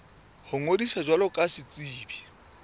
ho ngodisa jwalo ka setsebi